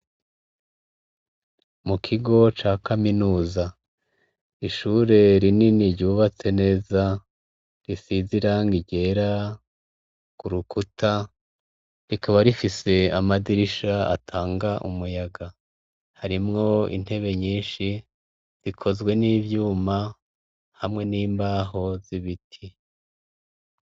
mu kigo ca kaminuza ishure rinini ryubatse neza risize irangi ryera kurukuta rikaba rifise amadirisha atanga umuyaga harimwo intebe nyinshi zikozwe n'ivyuma hamwe n'imbaho z'ibiti